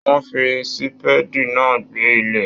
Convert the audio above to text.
Wọn fí sípédí náà gbẹ́ ilẹ̀.